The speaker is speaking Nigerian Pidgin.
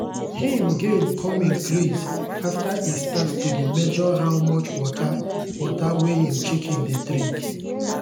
him gain come increase after e start to dey measure how much water water wey him chicken dey drink.